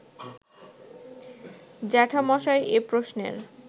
জ্যাঠামশায় এ প্রশ্নের